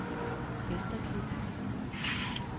Vesterklit